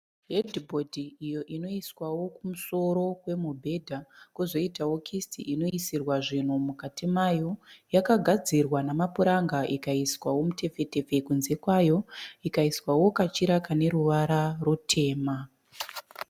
Hedhibhodhi iyo inoiswawo kumusoro kwemubhedzha kozoitawo kisiti inoisirwa zvinhu mukati mayo yakagadzirwa namapuranga ikaiswa mutefetefe kunze kayo ikaiswawo kachira aneruvara rutema